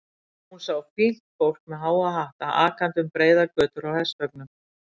Hún sá fínt fólk með háa hatta akandi um breiðar götur í hestvögnum.